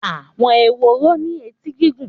Àwọn ehoro ní etí gígùn.